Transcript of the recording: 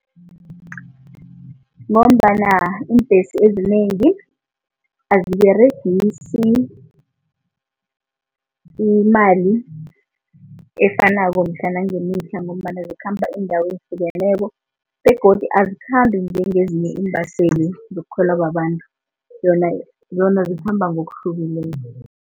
Ngombana iimbhesi ezinengi aziberegisai imali efanako mihla ngemihla ngombana zikhamba iindawo ezihlukeneko begodu azikhambi njengezinye iimbaseli zokukhwela babantu zikhamba ngokuhlukileko.